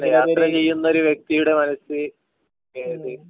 യാത്ര ചെയുന്ന ഒരു വ്യക്തിയുടെ മനസ്സ് ഏത്